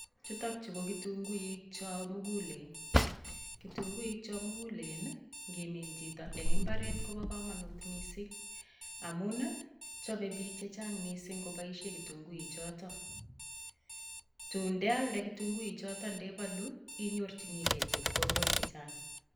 Chutok chu ko kitunguik cho mugulen, kitunguik cho mugulen ii, nguminin chito eng imbaret kobo kamanut mising amun ii, chome biik che chang mising koboisien kitunguik choto. Tun ndealde kitunguik choton ndebalu, inyorchini gei chepkondok che chang.